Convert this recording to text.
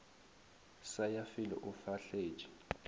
sa ya felo o fahletše